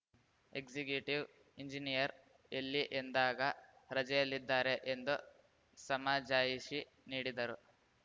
executive engineer ಎಲ್ಲಿ ಎಂದಾಗ ರಜೆಯಲ್ಲಿದ್ದಾರೆ ಎಂದು ಸಮಜಾಯಿಷಿ ನೀಡಿದರು